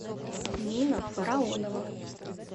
нина фараонова